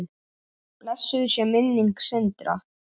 Blessuð sé minning Sindra.